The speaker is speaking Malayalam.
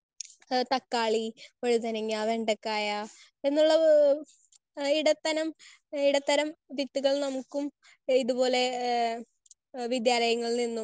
സ്പീക്കർ 1 ആഹ് തക്കാളി, വഴുതനങ്ങ, വെണ്ടക്കായ എന്നുള്ള ഇടത്തനം ഇടത്തരം വിത്തുകൾ നമുക്കും ഇതുപോലെ വിദ്യാലയങ്ങളിൽ നിന്നും